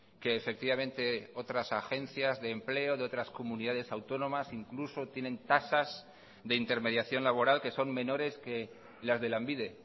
que efectivamente otras agencias de empleo de otras comunidades autónomas incluso tienen tasas de intermediación laboral que son menores que las de lanbide